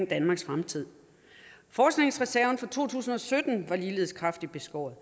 danmarks fremtid forskningsreserven for to tusind og sytten er ligeledes kraftigt beskåret